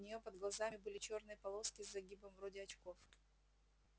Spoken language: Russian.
у нее под глазами были чёрные полоски с загибом вроде очков